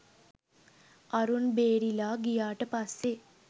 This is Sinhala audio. අරුන් බේරිලා ගියාට පස්සේ